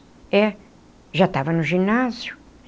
É, já estava no ginásio.